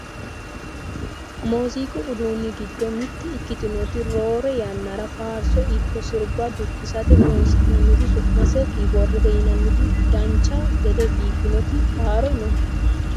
muziiqu uduunni giddo mitte ikkitinoti roore yannara faarso ikko sirba dukkisate horonsi'nanniti su'mase kiboordete yinanniti dancha gede biiffannoti haaro no